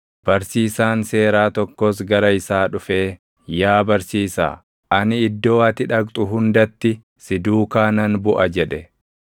Barsiisaan seeraa tokkos gara isaa dhufee, “Yaa barsiisaa, ani iddoo ati dhaqxu hundatti si duukaa nan buʼa” jedhe.